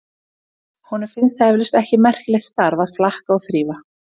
Honum finnst það eflaust ekki merkilegt starf að flaka og þrífa.